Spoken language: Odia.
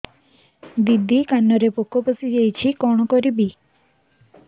ଦିଦି କାନରେ ପୋକ ପଶିଯାଇଛି କଣ କରିଵି